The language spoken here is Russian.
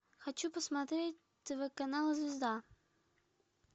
хочу посмотреть тв канал звезда